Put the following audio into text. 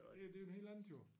Og ja det jo en helt andet jo